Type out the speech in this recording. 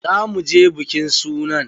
Za mu je bikin sunan.